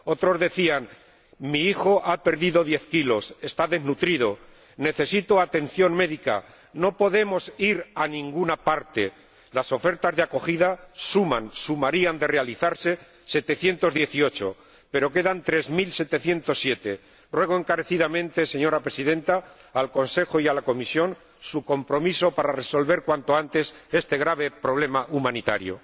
Otros decían mi hijo ha perdido diez kilos, está desnutrido, necesito atención médica, no podemos ir a ninguna parte. Las ofertas de acogida suman, sumarían de realizarse setecientas dieciocho, pero quedan tres mil setecientos siete. Ruego encarecidamente, señora Presidenta, al Consejo y a la Comisión su compromiso para resolver cuanto antes este grave problema humanitario.